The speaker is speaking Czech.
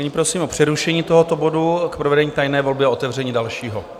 Nyní prosím o přerušení tohoto bodu k provedení tajné volby a otevření dalšího.